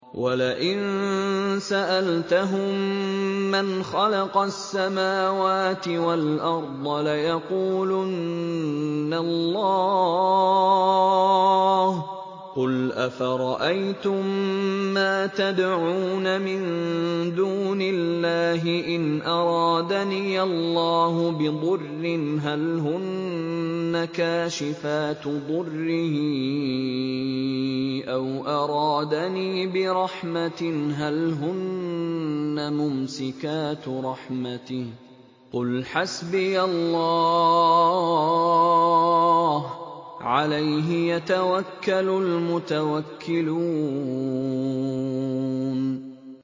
وَلَئِن سَأَلْتَهُم مَّنْ خَلَقَ السَّمَاوَاتِ وَالْأَرْضَ لَيَقُولُنَّ اللَّهُ ۚ قُلْ أَفَرَأَيْتُم مَّا تَدْعُونَ مِن دُونِ اللَّهِ إِنْ أَرَادَنِيَ اللَّهُ بِضُرٍّ هَلْ هُنَّ كَاشِفَاتُ ضُرِّهِ أَوْ أَرَادَنِي بِرَحْمَةٍ هَلْ هُنَّ مُمْسِكَاتُ رَحْمَتِهِ ۚ قُلْ حَسْبِيَ اللَّهُ ۖ عَلَيْهِ يَتَوَكَّلُ الْمُتَوَكِّلُونَ